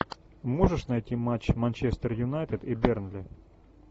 можешь найти матч манчестер юнайтед и бернли